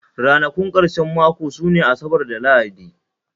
Ranakun karshen mako sune Asabar da Lahadi